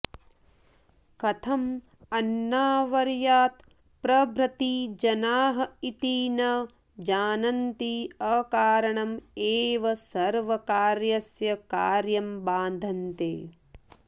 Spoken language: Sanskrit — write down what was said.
कथं अन्नावर्यात् प्रभृति जनाः इति न जानन्ति अकारणम् एव सर्वकार्यस्य कार्यं बाधन्ते